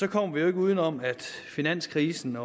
kommer vi jo ikke uden om at finanskrisen